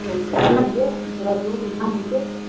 ਚੱਲ ਰਾਜੂ ਠੀਕ ਏ